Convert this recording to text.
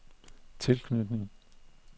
tilknytning